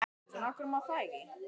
Ekki nógu góð fyrir hann, finnst þér.